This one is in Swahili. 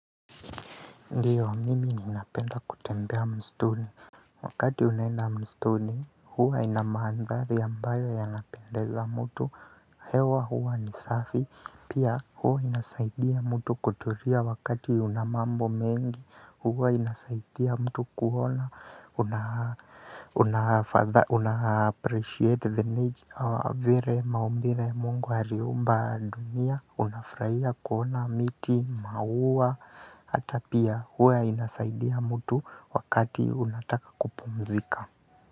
Ndio mimi ninapenda kutembea msituni wakati unaenda msituni huwa ina mandhari ambayo yanapendeza mtu hewa huwa ni safi pia huwa inasaidia mtu kutulia wakati unamambo mengi huwa inasaidia mtu kuona una appreciate the nature vile maumbile Mungu aliumba dunia. Unafurahia kuona miti, mauwa hata pia huwa inasaidia mtu wakati unataka kupumzika.